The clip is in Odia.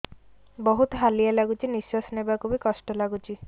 ବହୁତ୍ ହାଲିଆ ଲାଗୁଚି ନିଃଶ୍ବାସ ନେବାକୁ ଵି କଷ୍ଟ ଲାଗୁଚି